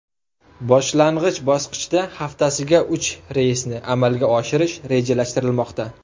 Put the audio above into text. Boshlang‘ich bosqichda haftasiga uchta reysni amalga oshirish rejalashtirilmoqda.